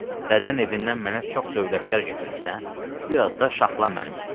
Dədən evindən mənə çox dövlətlər gətirmisən, biraz da şaxlan mənim üstümə.